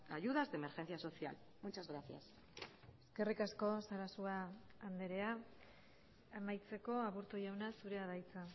ayudas de emergencia social muchas gracias eskerrik asko sarasua andrea amaitzeko aburto jauna zurea da hitza